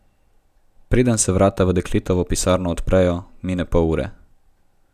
Preden se vrata v dekletovo pisarno odprejo, mine pol ure.